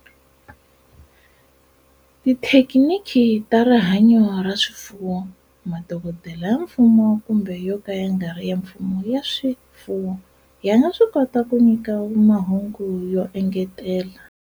Tithekiniki ta rihanyo ra swifuwo, madokodela ya mfumo kumbe yo ka ya nga ri ya mfumo ya swifuwo ya nga swi kota ku nyika mahungu yo engetela.